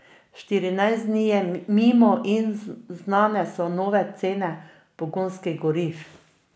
Štirinajst dni je mimo in znane so nove cene pogonskih goriv.